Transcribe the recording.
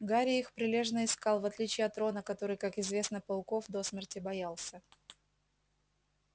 гарри их прилежно искал в отличие от рона который как известно пауков до смерти боялся